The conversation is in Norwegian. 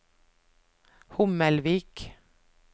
Hommelvik